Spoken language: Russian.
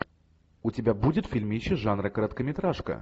у тебя будет фильмище жанра короткометражка